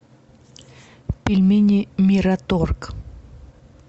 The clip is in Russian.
пельмени мираторг